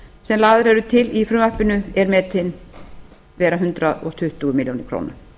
sem lagðar eru til í frumvarpinu er metinn vera hundrað tuttugu milljónir króna